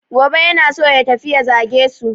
Gobe yana so ya tafi ya zage su.